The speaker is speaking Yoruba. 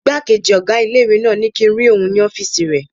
Ìgbákejì ọgá ilé-ìwé náà ní kíi n rí òun ní ọ́fìsì rẹ̀